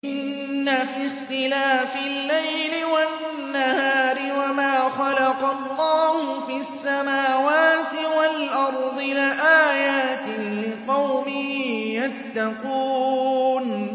إِنَّ فِي اخْتِلَافِ اللَّيْلِ وَالنَّهَارِ وَمَا خَلَقَ اللَّهُ فِي السَّمَاوَاتِ وَالْأَرْضِ لَآيَاتٍ لِّقَوْمٍ يَتَّقُونَ